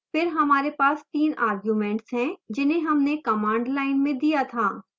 फिर हमारे पास तीन arguments हैं जिन्हें हमने command line में दिया था